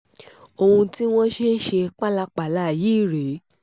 ohun tí wọ́n ṣe ń ṣe pálapàla yìí rèé